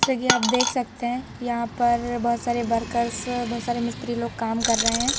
जैसे कि आप देख सकते हैं यहां पर बहोत सारे वर्कर्स बहोत मिस्त्री लोग काम कर रहे है।